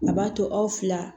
A b'a to aw fila